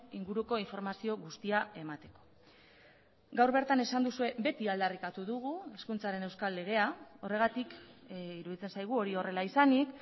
inguruko informazio guztia emateko gaur bertan esan duzue beti aldarrikatu dugu hezkuntzaren euskal legea horregatik iruditzen zaigu hori horrela izanik